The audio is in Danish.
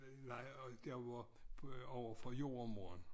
Øh nej og der var iverfor jordemoren